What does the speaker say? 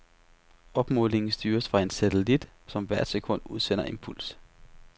Opmålingen styres fra en satellit, som hvert sekund udsender en puls.